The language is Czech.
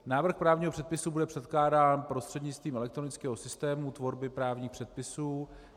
Návrh právního předpisu bude předkládán prostřednictvím elektronického systému tvorby právních předpisů.